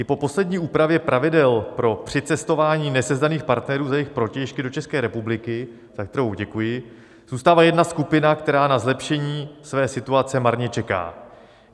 I po poslední úpravě pravidel pro přicestování nesezdaných partnerů za jich protějšky do České republiky, za kterou děkuji, zůstává jedna skupina, která na zlepšení své situace marně čeká.